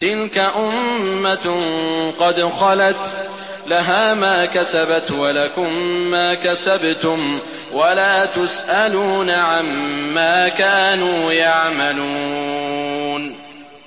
تِلْكَ أُمَّةٌ قَدْ خَلَتْ ۖ لَهَا مَا كَسَبَتْ وَلَكُم مَّا كَسَبْتُمْ ۖ وَلَا تُسْأَلُونَ عَمَّا كَانُوا يَعْمَلُونَ